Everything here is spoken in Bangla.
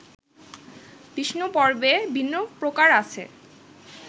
বিষ্ণুপর্বে ভিন্ন প্রকার আছে